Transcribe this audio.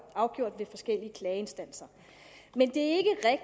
afgjort ved forskellige klageinstanser men det